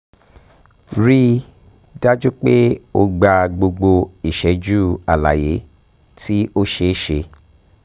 um rii um daju pe o gba gbogbo iṣẹju alaye ti o ṣeeṣe